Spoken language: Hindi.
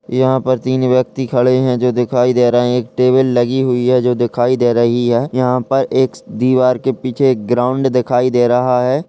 यहाँ पर तीन व्यक्ति खड़े हैं जो दिखाई दे रहे हैं। एक टेबल लगी हुई हैजो दिखाई दे रही है। यहाँ पर एक दीवार के पीछे एक ग्राउंड दिखाई दे रहा है।